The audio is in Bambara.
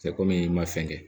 Cɛ komi i ma fɛn kɛ